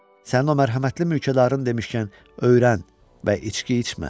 Sənin o mərhəmətli mülkədarın demişkən, öyrən və içki içmə.